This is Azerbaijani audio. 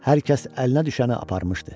Hər kəs əlinə düşəni aparmışdı.